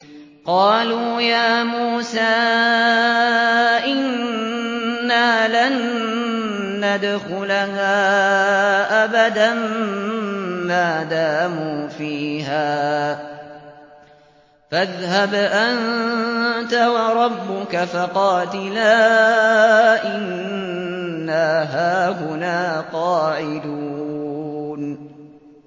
قَالُوا يَا مُوسَىٰ إِنَّا لَن نَّدْخُلَهَا أَبَدًا مَّا دَامُوا فِيهَا ۖ فَاذْهَبْ أَنتَ وَرَبُّكَ فَقَاتِلَا إِنَّا هَاهُنَا قَاعِدُونَ